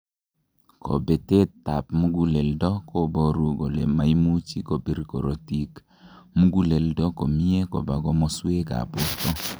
kobetet ab muguleldo koboru kole moimuchi kobir korotik muguleldo komie koba komoswek ab borto